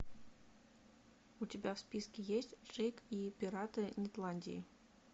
у тебя в списке есть джейк и пираты нетландии